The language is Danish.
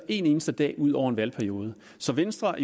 en eneste dag ud over en valgperiode så venstre